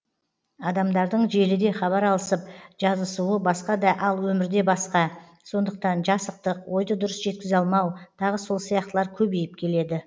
адамдардың желіде хабар алысып жазысуы басқа да ал өмірде басқа сондықтан жасықтық ойды дұрыс жеткізе алмау тағы сол сияқтылар көбейіп келеді